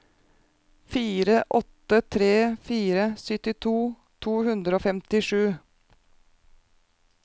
fire åtte tre fire syttito to hundre og femtisju